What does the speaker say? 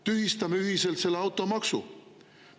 Tühistame ühiselt selle automaksu!